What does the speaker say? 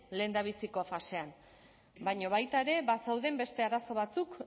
lehendabiziko fasean baina baita ere bazeuden beste arazo batzuk